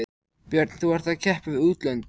Björn: Þú ert að keppa við útlönd?